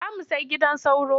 Za mu sai gidan sauro.